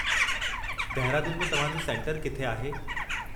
दहिरादून में तव्हां जो सेंटरु किथे आहे?